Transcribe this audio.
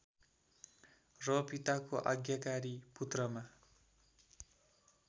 र पिताको आज्ञाकारी पुत्रमा